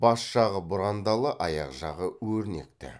бас жағы бұрандалы аяқ жағы өрнекті